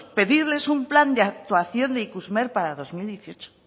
pedirles un plan de actuación ikusmer para dos mil dieciocho